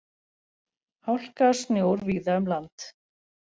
Hálka og snjór víða um land